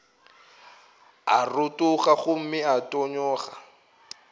a rotoga gomme a tonyago